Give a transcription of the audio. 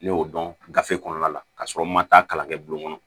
Ne y'o dɔn gafe kɔnɔna la ka sɔrɔ n ma taa kalan kɛ bulon kɔnɔ